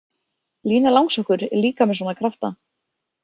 Lína Langsokkur er líka með svona krafta.